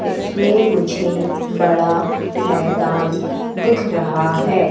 इसमें मुझे बड़ा मैदान दिख रहा है।